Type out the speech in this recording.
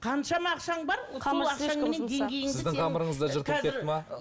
қаншама ақшаң бар